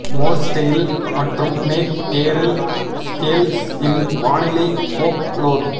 Morse tail மற்றும் mackerel scales இன் வானிலை ஃபோக்லோர்